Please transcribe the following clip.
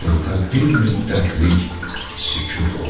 Çadırda bir müddətlik sükut oldu.